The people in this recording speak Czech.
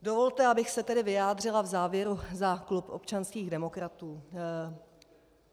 Dovolte, abych se tedy vyjádřila v závěru za klub občanských demokratů.